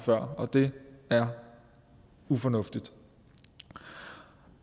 før og det er ufornuftigt